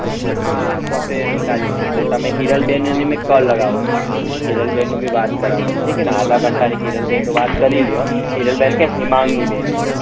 હા software ને નીકાળી લેશે તો તમે હિરલ બેન ને call લગાવજો હિરલ બેન ની મેં વાત કરાવી ઠીક હૈ ને આધા ઘંટા ની હિરલ બેન ની વાત કરી લો હિરલ બેન ક્યા હિમાંગી બેન